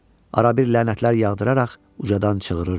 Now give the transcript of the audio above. Arabir lənətlər yağdıraraq ucadan çığırırdı.